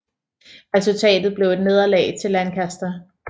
Resultatet blev et nederlag til Lancaster